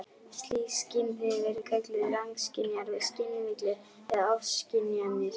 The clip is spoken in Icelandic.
Slík skynhrif eru kölluð rangskynjanir og skynvillur eða ofskynjanir.